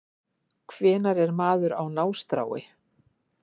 Hvenær er maður á nástrái